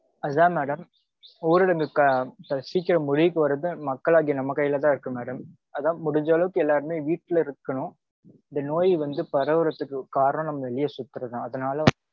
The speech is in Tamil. அதுதா madam ஊரடங்கு சீக்கிரம் முடிவுக்கு வரது மக்களாகிய நம்ம கைலதா இருக்கு madam. அதா முடிஞ்ச அளவுக்கு எல்லாருமே வீட்டில இருக்கனும். இந்த நோய் வந்து பரவறதுக்கு காரணம் வெளிய சுத்துறதுதா.